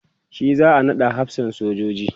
shi za'a naɗa hafsan sojoji